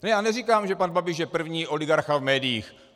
Já neříkám, že pan Babiš je první oligarcha v médiích.